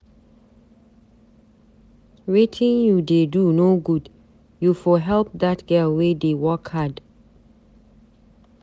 Wetin you dey do no good. You for help dat girl wey dey work hard.